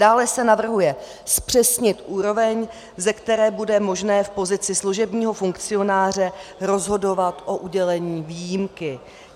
Dále se navrhuje zpřesnit úroveň, ze které bude možné v pozici služebního funkcionáře rozhodovat o udělení výjimky.